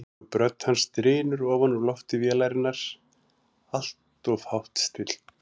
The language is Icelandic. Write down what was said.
Djúp rödd hans drynur ofan úr lofti vélarinnar, alltof hátt stillt.